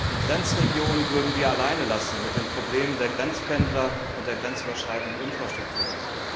Die Grenzregionen würden wir alleine lassen mit den Problemen der Grenzpendler und der grenzüberschreitenden Infrastrukturen.